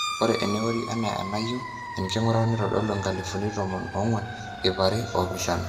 ore eneorri enaa enayieu enking'urata neitodolu inkalifuni tomon oong'uan ip are oopishana